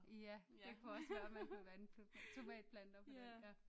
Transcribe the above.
Ja det kunne også være man vil vande tomatplanter med den